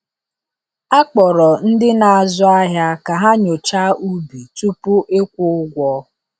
A kpọrọ ndị na-azụ ahịa ka ha nyochaa ubi tupu ịkwụ ụgwọ.